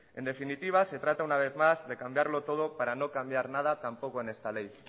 en definitiva se trata una vez más de cambiarlo todo para no cambiar nada tampoco en esta ley